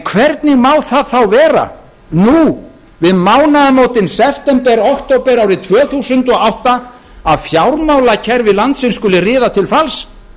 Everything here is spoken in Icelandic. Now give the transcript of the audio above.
hvernig má það þá vera nú við mánaðamótin september október árið tvö þúsund og átta að fjármálakerfi landsins skuli riða til falls